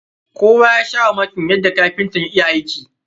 Kowa ya sha mamakin yadda kapintan ya iya aiki.